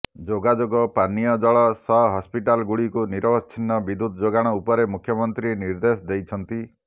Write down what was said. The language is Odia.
ଯୋଗୋଯୋଗ ପାନୀୟ ଜଳ ସହ ହସ୍ପିଟାଲ ଗୁଡ଼ିକୁ ନିରବଚ୍ଛିନ୍ନ ବିଦ୍ୟୁତ୍ ଯୋଗାଣ ଉପରେ ମୁଖ୍ୟମନ୍ତ୍ରୀ ନିର୍ଦ୍ଦେଶ ଦେଇଛନ୍ତି